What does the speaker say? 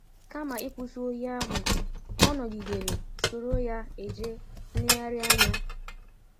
Kama ịkwụsị ọyi ahụ, ọ nọgidere soro ya eje nlegharị anya.